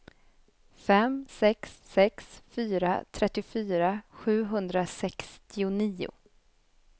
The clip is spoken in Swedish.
fem sex sex fyra trettiofyra sjuhundrasextionio